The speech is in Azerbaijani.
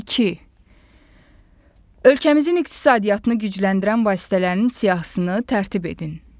İki: Ölkəmizin iqtisadiyyatını gücləndirən vasitələrin siyahısını tərtib edin.